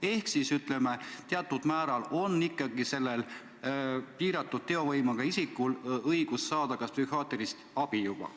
Ehk siis, ütleme, teatud määral on sellel piiratud teovõimega isikul õigus psühhiaatrilist abi saada ikkagi juba olemas.